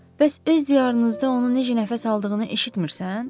Bəs öz diyarınızda onu necə nəfəs aldığını eşitmisən?